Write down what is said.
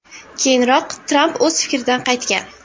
Keyinroq Tramp o‘z fikridan qaytgan .